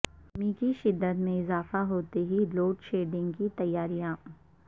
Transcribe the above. گرمی کی شدت میں اضافہ ہوتے ہی لوڈشیڈنگ کی تیاریاں